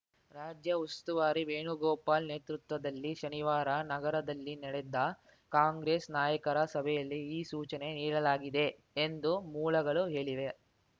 ರಾಜ್ಯ ಉಸ್ತುವಾರಿ ವೇಣುಗೋಪಾಲ್‌ ನೇತೃತ್ವದಲ್ಲಿ ಶನಿವಾರ ನಗರದಲ್ಲಿ ನಡೆದ ಕಾಂಗ್ರೆಸ್‌ ನಾಯಕರ ಸಭೆಯಲ್ಲಿ ಈ ಸೂಚನೆ ನೀಡಲಾಗಿದೆ ಎಂದು ಮೂಲಗಳು ಹೇಳಿವೆ